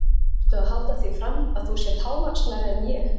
Ertu að halda því fram að þú sért hávaxnari en ég?